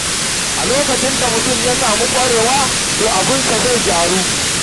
A lokacin da mutum ya sami ƙwararre, to abinsa zai gyaru.